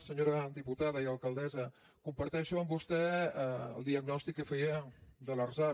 senyora diputada i alcaldessa comparteixo amb vostè el diagnòstic que feia de l’arsal